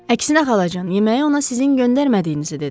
Əksinə xalacan, yeməyi ona sizin göndərmədiyinizi dedim.